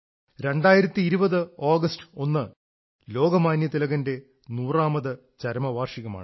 2020 August 1 ന് ലോകമാന്യ തിലകന്റെ നൂറാമത് ചരമവാർഷികമാണ്